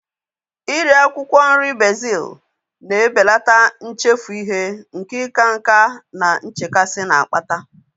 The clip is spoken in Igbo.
Iri akwụkwọ nri bezil na-ebelata nchefu ihe nke ịka nká na nchekasị na-akpata